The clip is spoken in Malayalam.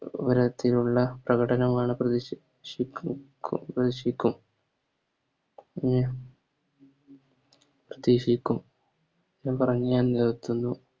രതിലുള്ള പ്രകടനവുമാണ് പ്രധീക്ഷി ഷി ക്കും പ്രധീക്ഷിക്കും എന്നും പറഞ്ഞ് ഞാൻ നിർത്തുന്നു